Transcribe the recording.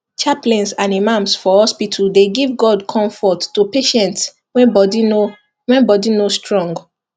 chaplains and imams for hospital dey give god comfort to patients when body no when body no strong